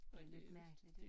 Det lidt mærkeligt ik